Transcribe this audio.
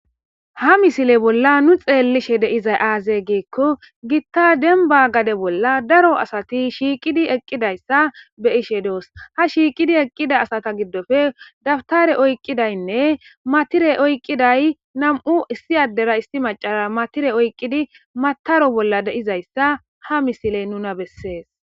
Ha misile bolla nu xelishe de'izay aze gikko gita denba gade bolla daro asati shiqidi eqidaysa be'ishe dos ha shiiqidi eqida asata gidoppe taptare okidaynne matire oyqidaynne nam'u issi adrea issi macara matire oqidi mataro bolla dizaysa ha misiley nuna bese